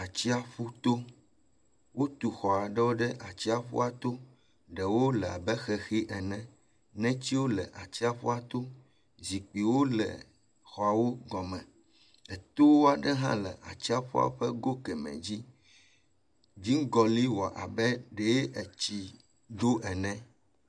Atsiaƒu to. Wotu xɔ aɖewo ɖe atsiaƒua to. Ɖewo le abe xexi ene, netiwo le atsiaƒua to. Zikpuiwo le exɔawo gɔme. Etowo aɖe hã etoa ƒe go kemɛ dzi. Dziŋgɔli wɔ abe ɖee etsi ɖo ene.